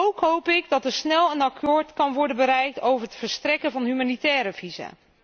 Ook hoop ik dat er snel een akkoord kan worden bereikt over het verstrekken van humanitaire visa.